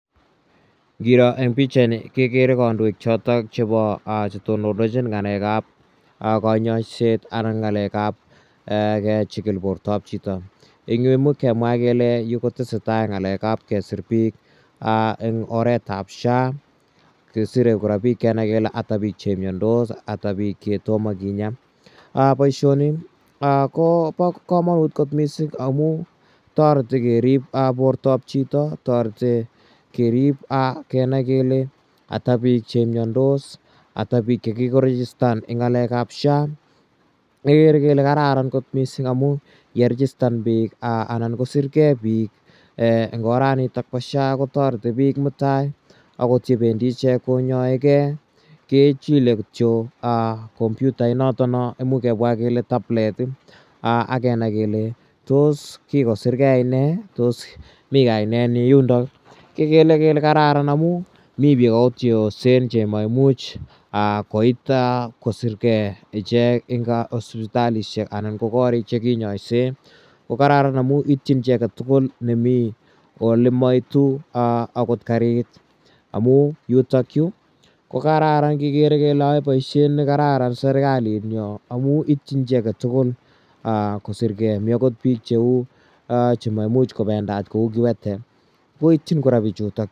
Ngiro eng' pichaini kekere kandoik chotok chepa che tonondachin ng'alek ap kanyaiset anan ng'alek ap kechikil portap chito. Eng' yu imuch kemwa kele eng' yu ko tese tai ng'alek ap siret ap piik eng' oret ap SHA. Kesire kora kenai kele ata che miandos, ata pik che toma kinyaa. Poishoni ko pa kamanut kot missing' amu tareti kerip portap chito. Tareti kerip kenai kele ata pik che miandos, ata pik che kikorejistan eng' ng'alek ap SHA. Kekere kele kararan kot missing' amu ye rejistan pik anan kosirgei pik eng' oranitok pa SHA ko tareti pik mutai akot ye pendi ichek konyaige kechile kityo komputainotono imuch kemwa kele tablet ak kenai kele tos kikosirgei ine ak kenai kele tos mi kaninenyi eng' yundok i? Kekere kele kararan amu mi pik akot che osen che maimuchi koit kosirgei ichek eng' siptalishek anan ko koriik che kinyaisei. Ko kararan amu itchin chi age tugul ne mi ole ma itu akot karit amu yutakyu ko kararan kikere kele ae poishet ne kararan serikalinyo amu itchin chi age tugul serkali ko sirgei. Mi akot pik cheu che ma imuch ko pendat kou kiwete koitchin kora pichutok.